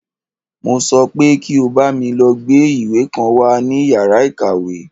Mo sọ pé kí o bámi lọ gbá ìwé kan wá ní yàrá ìkàwé!